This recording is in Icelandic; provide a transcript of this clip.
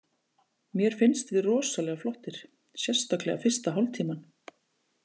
Mér finnst við rosalega flottir, sérstaklega fyrsta hálftímann.